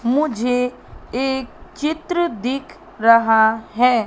मुझे एक चित्र दिख रहा है।